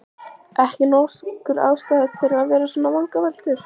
Ekki nokkur ástæða til að vera með svona vangaveltur.